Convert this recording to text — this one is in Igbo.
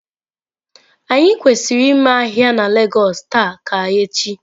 Anyi kwesiri ime ahia na lagos taa ka echi?